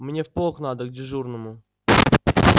мне в полк надо к дежурному